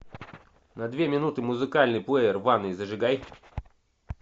на две минуты музыкальный плеер в ванной зажигай